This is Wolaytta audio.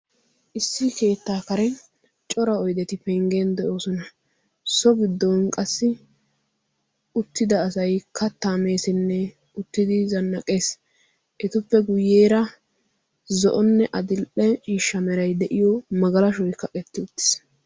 issi keettaa kare cora oideti penggen de'oosona so giddon qassi uttida asay kattaa meesinne uttidi zannaqees etuppe guyyeera zo'onne adil''e siishsha merai de'iyo magalashoy ka qetti uttiis